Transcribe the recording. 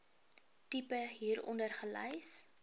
tipe hieronder gelys